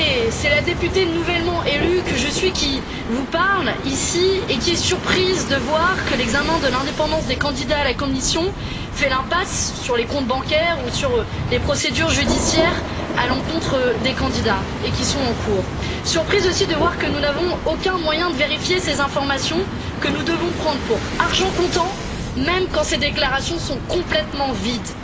C'est la députée nouvellement élue que je suis qui vous parle et qui est surprise de voir que l'examen de l'indépendance des candidats à la Commission fait l'impasse sur les comptes bancaires ou sur les procédures judiciaires en cours à l'encontre des candidats. Je suis surprise, aussi, de voir que nous n'avons aucun moyen de vérifier ces informations que nous devons prendre pour argent comptant, même quand ces déclarations sont complètement vides.